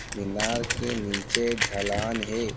मीनार के नीचे ढलान है।